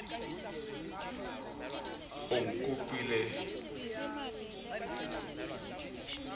o nkopile ke ne ke